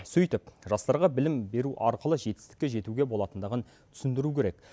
сөйтіп жастарға білім беру арқылы жетістікке жетуге болатындығын түсіндіру керек